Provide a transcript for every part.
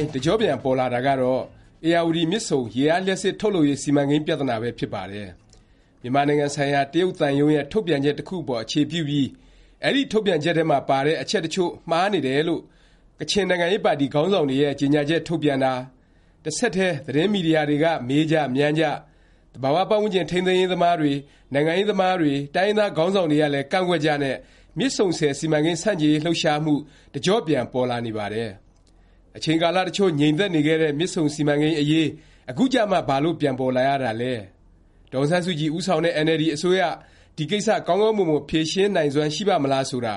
င်း တကျော့ပြန် ပေါ်လာတာကတော့ ဧရာဝတီ မြစ်ဆုံ ရေအားလျှပ်စစ် ထုတ်လုပ်ရေး စီမံကိန်း ပြသနာပဲဖြစ်ပါတယ်။ မြန်မာနိုင်ငံဆိုင်ရာ တရုတ်သံရုံးရဲ့ ထုတ်ပြန်ချက် တစ်ခုအပေါ် အခြေပြုပြီး အဲဒီ ထုတ်ပြန်ချက်ထဲပါတဲ့ အချက်တစ်ချို့မှားနေတယ်လို့ ကချင် နိုင်ငံရေးပါတီ ခေါင်းဆောင်တွေရဲ့ ကြေငြာချက် ထုတ်ပြန်တာ၊ တဆက်တည်း သတင်းမီဒီယာတွေက မေးကြ၊ မြန်းကြ၊ သဘာ၀ ပတ်ဝန်းကျင် ထိန်းသိမ်းရေးသမားတွေ၊ နိုင်ငံရေးသမားတွေ၊ တိုင်းရင်းသား ခေါင်းဆောင်တွေကလည်း ကန့်ကွက်ကြနဲ့ မြစ်ဆုံဆည် စီမံကိန်း ဆန့်ကျင်ရေး လှုပ်ရှားမှု တကျော့ပြန် ပေါ်လာနေပါတယ်။ အချိန်ကာလတစ်ချို့ ငြိမ်သက်နေခဲ့တဲ့ မြစ်ဆုံစီမံကိန်းအရေး အခုကျမှ ဘာလို့ ပြန်ပေါ်လာရသလဲ၊ ဒေါ်အောင်ဆန်းစုကြည် ဦးဆောင်တဲ့ အင်န်အယ်လ်ဒီ အစိုးရ ဒီကိစ္စ ကောင်းကောင်းမွန်မွန် ဖြေရှင်းနိုင်စွမ်း ရှိပါ့မလား ဆိုတာ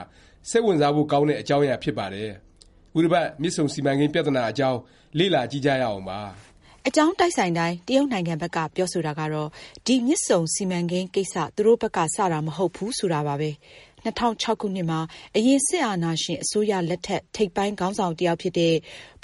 စိတ်ဝင်စားဖို့ ကောင်းတဲ့ အကြောင်းအရာ ဖြစ်ပါတယ်။ ခုတစ်ပတ် မြစ်ဆုံ စီမံကိန်း ပြသနာအကြောင်း လေ့လာကြည့်ကြရအောင်ပါ။ အကြောင်းတိုက်ဆိုင်တိုင်း တရုတ်နိုင်ငံဘက်က ပြောဆိုတာကတော့ ဒီ မြစ်ဆုံစီမံကိန်း ကိစ္စ သူတို့ဘက်က စတာ မဟုတ်ဘူး ဆိုတာပါပဲ။ ၂၀၀၆ ခုနှစ်မှာ အရင် စစ်အာဏာရှင် အစိုးရလက်ထက် ထိပ်ပိုင်း ခေါင်းဆောင်တစ်ယောက်ဖြစ်တဲ့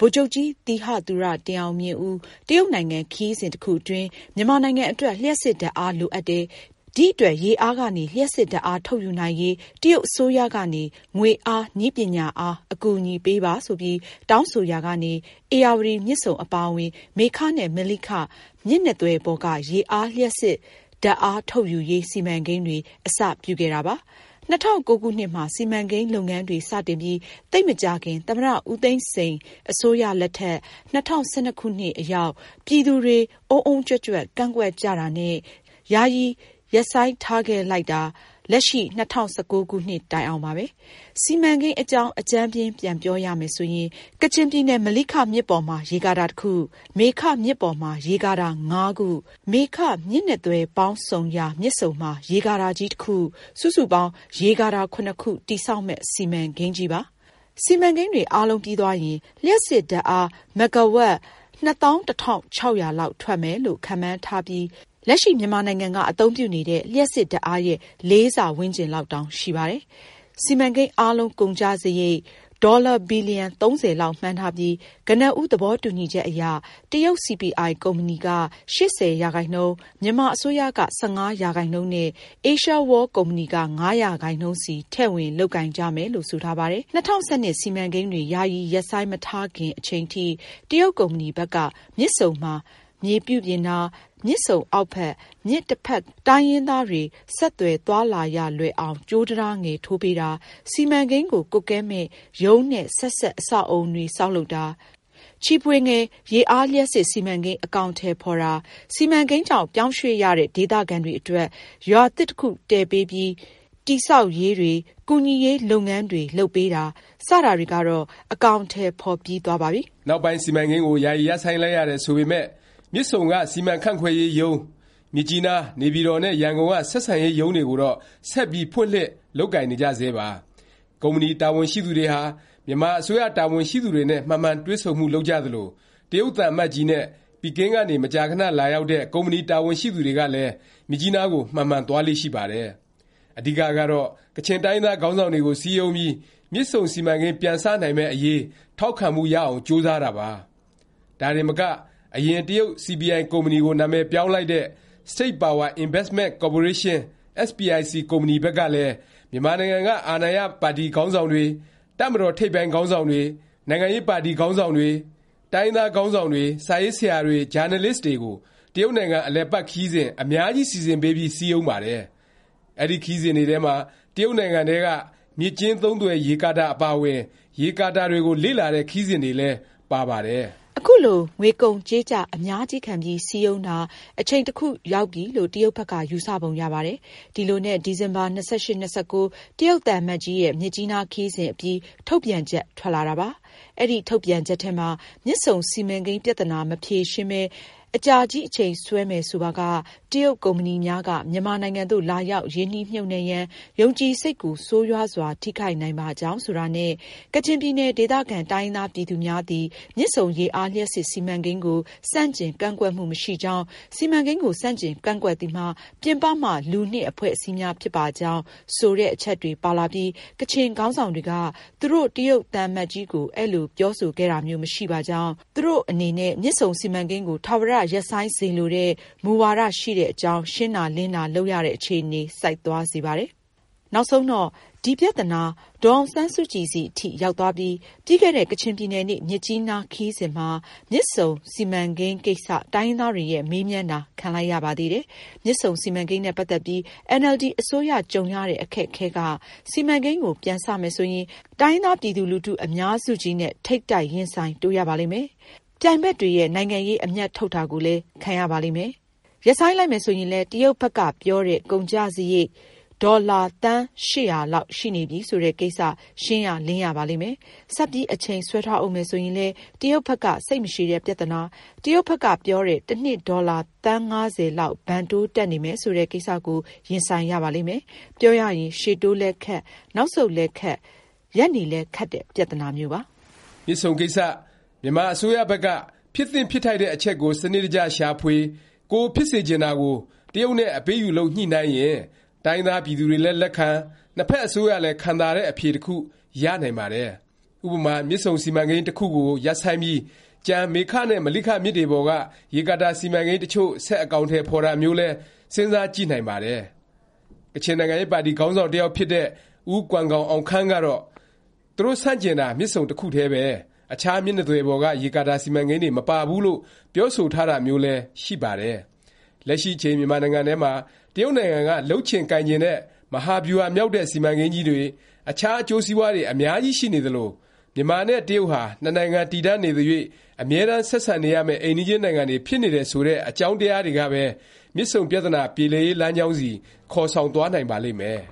ဗိုလ်ချုပ်ကြီး သီဟသူရ တင်အောင်မြင်ဦး တရုတ်နိုင်ငံ ခရီးစဉ် တစ်ခုအတွင်း မြန်မာနိုင်ငံအတွက် လျှပ်စစ်ဓာတ်အား လိုအပ်တယ်၊ ဒီအတွက် ရေအားကနေ လျှပ်စစ်ဓာတ်အား ထုတ်ယူနိုင်ရေး တရုတ်အစိုးရကနေ ငွေအား၊ နည်းပညာအား အကူအညီပေးပါ ဆိုပြီး တောင်းဆိုရာကနေ ဧရာဝတီ မြစ်ဆုံ အပါအဝင် မေခ နဲ့ မလိခ မြစ်နှစ်သွယ်ပေါ်က ရေအားလျှပ်စစ်ဓာတ်အား ထုတ်ယူရေး စီမံကိန်းတွေ အစပြုခဲ့တာပါ။ ၂၀၀၉ ခုနှစ်မှာ စီမံကိန်းလုပ်ငန်းတွေ စတင်ပြီး သိပ်မကြာခင် သမ္မတ ဦးသိန်းစိန် အစိုးရလက်ထက် ၂၀၁၂ ခုနှစ်အရောက်၊ ပြည်သူတွေ အုန်းအုန်းကြွက်ကြွက် ကန့်ကွက်ကြတာနဲ့ ယာယီရပ်ဆိုင်းထားခဲ့လိုက်တာ လက်ရှိ ၂၀၁၉ ခုနှစ် တိုင်အောင်ပါပဲ။ စီမံကိန်းအကြောင်း အကြမ်းဖျဉ်း ပြန်ပြောရမယ်ဆိုရင် ကချင်ပြည်နယ် မလိခ မြစ်ပေါ်မှာ ရေကာတာ တစ်ခု၊ မေခ မြစ်ပေါ်မှာ ရေကာတာ ၅ ခု မေခ၊ မြစ်နှစ်သွယ်ပေါင်းဆုံရာ မြစ်ဆုံမှာ ရေကာတာကြီးတစ်ခု စုစုပေါင်း ရေကာတာ ၇ ခု တည်ဆောက်မယ့် စီမံကိန်းကြီးပါ။ စီမံကိန်းတွေ အားလုံးပြီးသွားရင် လျှပ်စစ်ဓာတ်အား မဂ္ဂါဝပ် ၂၁၆၀၀ လောက်ထွက်မယ်လို့ ခန့်မှန်းထားပြီး လက်ရှိ မြန်မာနိုင်ငံက အသုံးပြုနေတဲ့ လျှပ်စစ်ဓာတ်အားရဲ့ ၄ ဆ ဝန်းကျင်လောက်တောင် ရှိပါတယ်။ စီမံကိန်း အားလုံး ကုန်ကျစားရိတ် ဒေါ်လာ ဘီလျံ ၃၀ လောက်မှန်းထားပြီး ကနဦး သဘောတူညီချက်အရ တရုတ် CPI ကုမ္ပဏီက ၈၀ ရာခိုင်နှုန်း၊ မြန်မာအစိုးရ ၁၅ ရာခိုင်နှုန်း နဲ့ အေးရှားဝေါလ် ကုမ္ပဏီက ၅ ရာခိုင်နှုန်းစီ ထည့်ဝင် လုပ်ကိုင်ကြမယ်လို့ ဆိုထားပါတယ်။ ၂၀၁၂ စီမံကိန်းတွေ ယာယီ ရပ်ဆိုင်းမထားခင် အချိန်ထိ တရုတ်ကုမ္ပဏီဘက်က မြစ်ဆုံမှာ မြေပြုပြင်တာ၊ မြစ်ဆုံအောက်ဘက် မြစ်တစ်ဖက်ကမ်းက တိုင်းရင်းသားတွေ ဆက်သွယ် သွားလာရလွယ်အောင် ကြိုးတံတားငယ် ထိုးပေးတာ၊ စီမံကိန်းကို ကွပ်ကဲမယ့် ရုံးနဲ့ ဆက်စပ် အဆောက်အဦတွေ ဆောက်လုပ်တာ၊ ချီဖွေငယ် ရေအားလျှပ်စစ် စီမံကိန်း အကောင်အထည်ဖော်တာ၊ စီမံကိန်းကြောင့် ပြောင်းရွှေ့ရတဲ့ ဒေသခံတွေအတွက် ရွာသစ် တစ်ခု တည်ပေးပြီး တည်ဆောက်ရေးတွေ၊ ကူညီရေး လုပ်ငန်းတွေ လုပ်ပေးတာ စတာတွေကတော့ အကောင်အထည် ဖော်ပြီးသွားပါပြီ။ နောက်ပိုင်း စီမံကိန်းကို ယာယီ ရပ်ဆိုင်းလိုက်ရတယ် ဆိုပေမယ့် မြစ်ဆုံက စီမံခန့်ခွဲရေးရုံး၊ မြစ်ကြီးနား၊ နေပြည်တော်နဲ့ ရန်ကုန်က ဆက်ဆံရေးရုံးတွေကိုတော့ ဆက်ပြီး ဖွင့်လှစ် လုပ်ကိုင်နေကြဆဲပါ။ ကုမ္ပဏီ တာဝန်ရှိသူတွေဟာ မြန်မာအစိုးရ တာဝန်ရှိသူတွေနဲ့ မှန်မှန် တွေ့ဆုံမှု လုပ်ကြသလို၊ တရုတ်သံအမတ်ကြီးနဲ့ ပီကင်းကနေ မကြာခဏ လာရောက်တဲ့ ကုမ္ပဏီ တာဝန်ရှိသူတွေကလည်း မြစ်ကြီးနားကို မှန်မှန် သွားလေ့ရှိပါတယ်။ အဓိကကတော့ ကချင်တိုင်းရင်းသား ခေါင်းဆောင်တွေကို စည်းရုံးပြီး မြစ်ဆုံစီမံကိန်း ပြစနိုင်မယ့် အရေး ထောက်ခံမှုရအောင်ပါ။ ဒါတင်မက အရင် တရုတ် CPI ကုမ္ပဏီကို နာမည်ပြောင်းလိုက်တဲ့ State Power Investment Corporation SPIC ကုမ္ပဏီဘက်ကလည်း မြန်မာနိုင်ငံက အာဏာရပါတီက ခေါင်းဆောင်တွေ၊ တပ်မတော် ထိပ်ပိုင်း ခေါင်းဆောင်တွေ၊ နိုင်ငံရေးပါတီ ခေါင်းဆောင်တွေ၊ တိုင်းရင်းသားခေါင်းဆောင်တွေ၊ စာရေးဆရာတွေ ဂျာနယ်လစ်တွေကို တရုတ်နိုင်ငံ အလည်အပတ် ခရီးစဉ် အများကြီး စီစဉ်ပေးပြီး စည်းရုံးပါတယ်။ အဲဒီခရီးစဉ်တွေထဲမှာ တရုတ်နိုင်ငံထဲက မြစ်ကျဉ်းသုံးသွယ် ရေကာတာ အပါအဝင် ရေကာတာတွေကို လေ့လာတဲ့ ခရီးစဉ်တွေလည်း ပါပါတယ်။ အခုလို ငွေကုန်ကြေးကျ အများကြီးခံပြီး စည်းရုံးတာ အချိန်တစ်ခု ရောက်ပြီလို့ တရုတ်ဘက်က ယူဆပုံရပါတယ်။ ဒီလိုနဲ့ ဒီဇင်ဘာ ၂၈၊ ၂၉ တရုတ်သံအမတ်ကြီးရဲ့ မြစ်ကြီးနား ခရီးစဉ်အပြီး ထုတ်ပြန်ချက် ထွက်လာတာပါ။ အဲဒီထုတ်ပြန်ချက်ထဲမှာ “ မြစ်ဆုံစီမံကိန်း ပြသနာ မဖြေရှင်းပဲ အကြာကြီး အချိန်ဆွဲမည် ဆိုပါက တရုတ်ကုမ္ပဏီများက မြန်မာနိုင်ငံသို့ လာရောက် ရင်းနှီးမြှုပ်နှံရန် ယုံကြည်စိတ်ကို ဆိုးရွားစွာ ထိခိုက်နိုင်ပါကြောင်း” ဆိုတာနဲ့ “ကချင်ပြည်နယ် ဒေသခံ တိုင်းရင်းသား ပြည်သူများသည် မြစ်ဆုံ ရေအားလျှပ်စစ် စီမံကိန်းကို ဆန့်ကျင် ကန့်ကွက်မှု မရှိကြောင်း၊ စီမံကိန်းကို ဆန့်ကျင် ကန့်ကွက်သည်မှာ ပြင်ပမှ လူနှင့် အဖွဲ့အစည်းများ ဖြစ်ပါကြောင်း ” ဆိုတဲ့ အချက်တွေ ပါလာပြီး ကချင်ခေါင်းဆောင်တွေက သူတို့ တရုတ်သံအမတ်ကြီးကို အဲလို ပြောဆိုခဲ့တာမျိုး မရှိပါကြောင်း၊ သူတို့ အနေနဲ့ မြစ်ဆုံစီမံကိန်းကို ထာဝရ ရပ်ဆိုင်းစေလိုတဲ့ မူဝါဒ ရှိတဲ့အကြောင်း ရှင်းတာ လင်းတာ လုပ်ရတဲ့ အခြေအနေ ဆိုက်သွားစေပါတယ်။ နောက်ဆုံးတော့ ဒီ ပြသနာ ဒေါ်အောင်ဆန်းစုကြည်ဆီ အထိ ရောက်သွားပြီး ပြီးခဲ့တဲ့ ကချင်ပြည်နယ်နေ့ မြစ်ကြီးနား ခရီးစဉ်မှာ မြစ်ဆုံ စီမံကိန်းကိစ္စ တိုင်းရင်းသားတွေရဲ့ မေးမြန်းတာ ခံလိုက်ရပါသေးတယ်။ မြစ်ဆုံ စီမံကိန်းနဲ့ ပတ်သက်ပြီး အင်န်အယ်လ်ဒီ အစိုးရ ကြုံရတဲ့ အခက်အခဲက စီမံကိန်းကို ပြန်စမယ် ဆိုရင် တိုင်းရင်းသား ပြည်သူလူထု အများစုကြီးနဲ့ ထိပ်တိုက် ရင်ဆိုင် တိုးရပါလိမ့်မယ်။ ပြိုင်ဘက်တွေရဲ့ နိုင်ငံရေး အမြတ်ထုတ်တာကိုလည်း ခံရပါလိမ့်မယ်။ ရပ်ဆိုင်း လိုက်မယ် ဆိုရင်လည်း တရုတ်ဘက်ကပြောတဲ့ ကုန်ကျစားရိတ် ဒေါ်လာ သန်း ၈၀၀ လောက်ရှိနေပြီ ဆိုတဲ့ ကိစ္စ ရှင်းရလင်းရပါလိမ့်မယ်။ ဆက်ပြီး အချိန်ဆွဲထားဦးမယ် ဆိုရင်လည်း တရုတ်ဘက်က စိတ်မရှည်တဲ့ ပြသနာ၊ တရုတ်ဘက်က ပြောတဲ့ တစ်နှစ် ဒေါ်လာ သန်း ၅၀ လောက် ဘဏ်တိုးတက်နေမယ် ဆိုတဲ့ ကိစ္စကို ရင်ဆိုင်ရပါလိမ့်မယ်။ ပြောရရင် ရှေ့တိုးလည်းခက်၊ နောက်ဆုတ်လည်းခက်၊ ရပ်နေလည်း ခက်တဲ့ ပြသနာမျိုးပါ။ မြစ်ဆုံကိစ္စ မြန်မာအစိုးရဘက်က ဖြစ်သင့် ဖြစ်ထိုက်တဲ့ အချက်ကို စနစ်တကျ ရှာဖွေ၊ ကိုယ်ဖြစ်စေချင်တာကို တရုတ်နဲ့ အပေးအယူလုပ် ညှိနှိုင်းရင် တိုင်းရင်းသား ပြည်သူတွေလည်း လက်ခံ၊ နှစ်ဖက် အစိုးရလည်း ခံသာတဲ့ အဖြေတစ်ခု ရနိုင်ပါတယ်။ ဥပမာ မြစ်ဆုံ စီမံကိန်း တစ်ခုကို ရပ်ဆိုင်းပြီး ကျန် မေခ နဲ့ မလိခ မြစ်တွေပေါ်က ရေကာတာ စီမံကိန်းတစ်ချို့ ဆက်အကောင်အထည် ဖော်တာမျိုးလည်း စဉ်းစားကြည့်နိုင်ပါတယ်။ ကချင်နိုင်ငံရေးပါတီ ခေါင်းဆောင် တစ်ယောက်ဖြစ်တဲ့ ဦးကွမ်ဂေါင်အောင်ခမ်း ကတော့ သူတို့ ဆန့်ကျင်တာ မြစ်ဆုံ တစ်ခုတည်းပဲ၊ အခြား မြစ်နှစ်သွယ်ပေါ်က ရေကာကာ စီမံကိန်းတွေ မပါဘူးလို့ ပြောဆိုထားတာမျိုးလည်း ရှိပါတယ်။ လက်ရှိအချိန် မြန်မာနိုင်ငံထဲမှာ တရုတ်နိုင်ငံက လုပ်ချင်ကိုင်ချင်တဲ့ မဟာဗျူဟာမြောက်တဲ့ စီမံကိန်းကြီးတွေ၊ အခြား အကျိုးစီးပွားတွေ အများကြီး ရှိနေသလို၊ မြန်မာနဲ့ တရုတ်ဟာ နှစ်နိုင်ငံ တည်တံ့နေသ၍ အမြဲတန်း ဆက်ဆံနေရမယ့် အိမ်နီးချင်း နိုင်ငံတွေ ဖြစ်နေတယ် ဆိုတဲ့ အကြောင်းတရားတွေကပဲ မြစ်ဆုံပြသနာ ပြေလည်ရေး လမ်းကြောင်းဆီ ခေါ်ဆောင်သွားနိုင်ပါလိမ့်မယ်။